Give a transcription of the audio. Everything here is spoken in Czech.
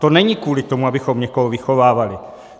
To není kvůli tomu, abychom někoho vychovávali.